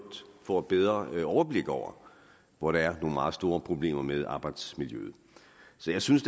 får et bedre overblik over hvor der er nogle meget store problemer med arbejdsmiljøet så jeg synes